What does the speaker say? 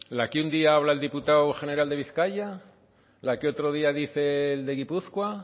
la que un día habla el diputado general de vizcaya la que otro día dice el de guipúzcoa